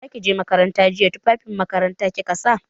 Da za ki je makaranta jiya tufafin makaranta kika sa?